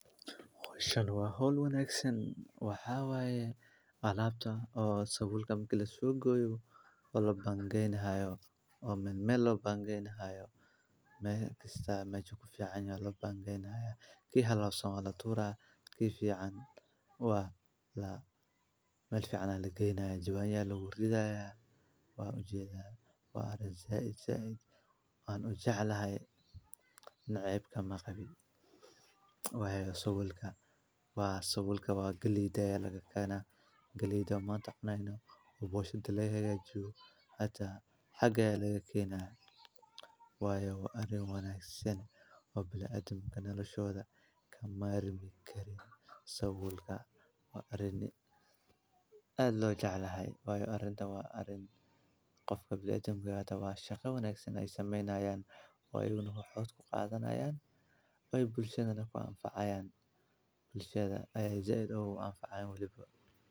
Howshan waa hol wanaagsan, waxa waaye alaabta oo sawirka kala soo gooyo. Oo la baan gaynahayo oo men me loo baan gaynahayo. Ma kasta ma joo ku fiicno loo baan gaynahay. Ki hadlo somalo tuura. Ki fiican waa la meel fiicana lagaynaay. Jawaabiya lagu gudbiyaya. Waa u jeeda. Waa reey zaide. Zaide aan u jeclahay naayibka maqabi. Wayga sawilka waa sawilka galiida laga keena. Geliido ma taqnayno u boshadley hayaga juub. Haddaa xagga laga keenay. Waayo waa arin wanaagsan oo bilaa adam ka nala shooda ka maalmi karay. Sawirka waa arrini ah loo jeclahay. Waayo arrinta waa arin qofka bilaa dambe ahaata. Waa shaqeysan ay samaynayaan oo ilmuhu xood ku qaadanayaan ooy bulshada ku anfacyaan. Bulshada ayeey zaedow anfacay weliba.